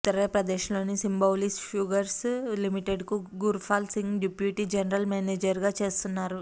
ఉత్తర ప్రదేశ్లోని Simbhaoli sugars లిమిటెడ్కు Gurpal Singh deputy general మేనేజర్గా చేస్తున్నారు